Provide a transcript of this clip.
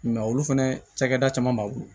olu fɛnɛ cakɛda caman b'a bolo